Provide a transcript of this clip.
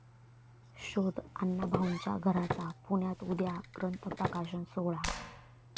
शोध अण्णाभाऊंच्या घराचा', पुण्यात उद्या ग्रंथ प्रकाशन सोहळा